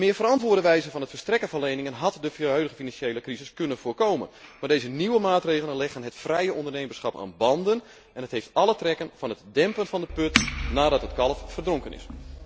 Een meer verantwoorde wijze voor het verstrekken van leningen had de huidige financiële crisis kunnen voorkomen, maar deze nieuwe maatregelen leggen het vrije ondernemerschap aan banden en hebben alle trekken van het dempen van de put nadat het kalf verdronken is.